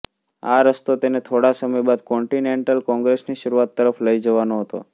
આ રસ્તો તેને થોડા સમય બાદ કોન્ટિનેન્ટલ કોંગ્રસની શરૂઆત તરફ લઇ જવાનો હતો